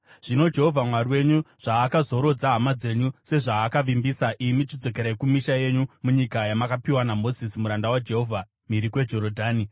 Zvino Jehovha Mwari wenyu zvaakazorodza hama dzenyu sezvaakavimbisa, imi chidzokerai kumisha yenyu munyika yamakapiwa naMozisi muranda waJehovha mhiri kweJorodhani.